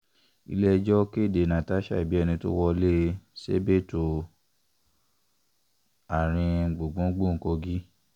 ile-ẹjo kede Natasha ẹ bi ẹni to wọlee sebedu u um aarin gbungbungbun kogi